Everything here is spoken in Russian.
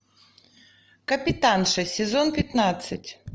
капитанша сезон пятнадцать